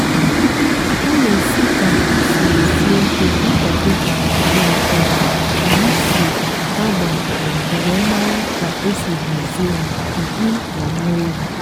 ana-esi ka mkpi siri sie ike akwado na ka ka hà si agba na mbu were mara ka esi hazie hà mkpi na nne ewu.